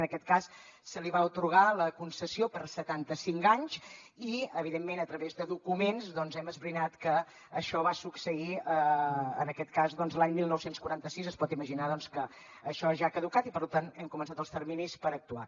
en aquest cas se li va atorgar la concessió per setanta cinc anys i evidentment a través de documents doncs hem esbrinat que això va succeir en aquest cas l’any dinou quaranta sis es pot imaginar doncs que això ja ha caducat i per tant hem començat els terminis per actuar